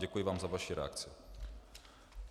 Děkuji vám za vaši reakci.